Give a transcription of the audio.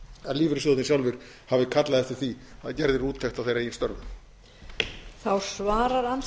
að lífeyrissjóðirnir sjálfir hafi kallað eftir því að gerð yrði úttekt á þeirra eigin störfum